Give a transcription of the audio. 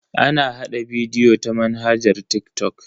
Ana hada bidiyo ta manhajar TikTok.